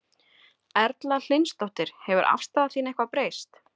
Erla Hlynsdóttir: Hefur afstaða þín eitthvað breyst?